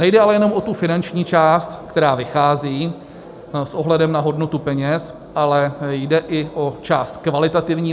Nejde ale jenom o tu finanční část, která vychází s ohledem na hodnotu peněz, ale jde i o část kvalitativní.